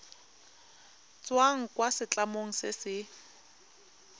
tswang kwa setlamong se se